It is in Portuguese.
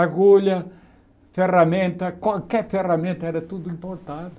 Agulha, ferramenta, qualquer ferramenta era tudo importado.